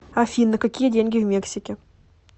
афина какие деньги в мексике